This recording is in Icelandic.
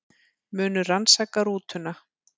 Munu rannsaka rútuna